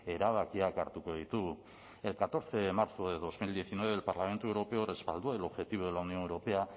erabakiak hartuko ditugu el catorce de marzo de dos mil diecinueve el parlamento europeo respaldó el objetivo de la unión europea